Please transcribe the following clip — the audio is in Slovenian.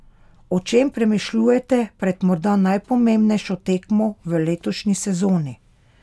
O čem premišljujete pred morda najpomembnejšo tekmo v letošnji sezoni?